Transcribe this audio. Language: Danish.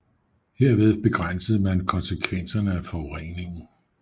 Herved begrænsede man konsekvenserne af forureningen